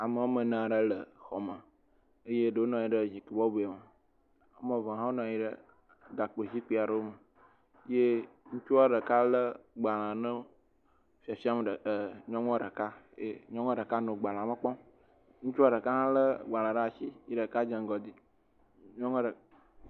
Ame woame ene aɖe le xɔ me, eye ɖewo nɔ anyi ɖe zikpyui bɔbɔe me, woame ve hã wonɔ anyi ɖe gakpo zikpui aɖe me, ŋutsua ɖeka lé gbalẽ nɔ fiafiam nyɔnu ɖeka, ye nyɔnua ɖeka hã nɔ agbalẽa me kpɔm, ŋutsua ɖeka hã lé gbalẽ ɖe asi ye ɖeka dze ŋgɔ doe.